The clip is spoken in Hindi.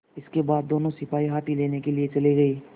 इसके बाद दोनों सिपाही हाथी लेने के लिए चले गए